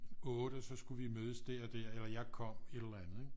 8 så skulle vi mødes der og der og jeg kom et eller andet ikke